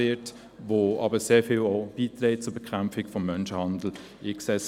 Diese Stelle trägt viel zur Bekämpfung von Menschenhandel bei.